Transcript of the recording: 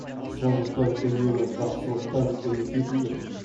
сондықтан үнемі жақсылықтан үміт ету керек